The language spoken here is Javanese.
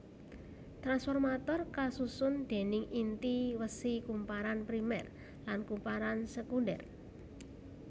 Tranformator kasusun déning inti wesi kumparan primer lan kumparan sekunder